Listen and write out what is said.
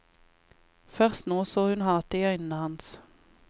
Først nå så hun hatet i øynene hans.